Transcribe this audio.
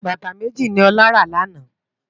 Bátá méji ni Ola rá làná